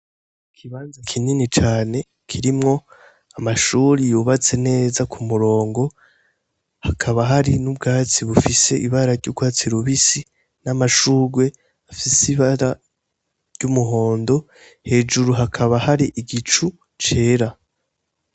Ikibanza kinini cane kirimwo amashuri yubatse neza ku murongo. Hakaba hari n'ubwatsi bufise ibara ry'urwatsi rubisi, n'amashurwe afise ibara ry'umuhondo. Hejuru hakaba hari igicu cere.